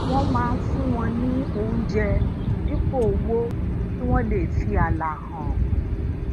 wón máa ń fún wọn ní oúnjẹ dípò owó kí wón lè fi aala han